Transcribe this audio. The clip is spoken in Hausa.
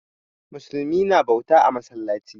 Musulmi na bauta a masallaci.